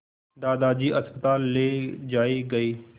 दादाजी अस्पताल ले जाए गए